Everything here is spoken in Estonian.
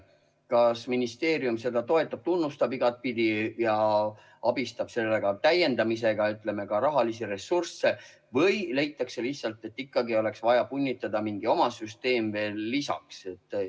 Kas ministeerium seda toetab, igatpidi tunnustab ja abistab selle täiendamisega, annab ka rahalisi ressursse, või leitakse lihtsalt, et ikkagi oleks vaja punnitada mingi oma süsteem veel lisaks?